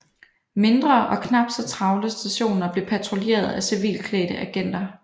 Mindre og knap så travle stationer blev patruljeret af civilklædte agenter